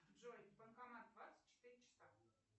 джой банкомат двадцать четыре часа